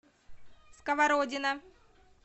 сковородино